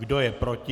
Kdo je proti?